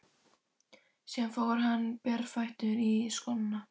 Síðan fór hann berfættur í skóna.